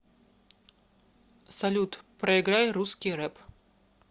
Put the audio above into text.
салют проиграй русский рэп